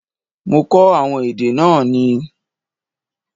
Mo kó àwọn èdè náà ni.